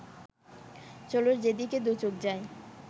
চলো যেদিকে দুচোখ যায়